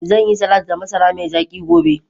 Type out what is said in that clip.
Zan yi salati da masara mai zaki gobe.